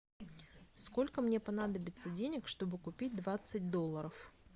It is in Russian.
сколько мне понадобится денег чтобы купить двадцать долларов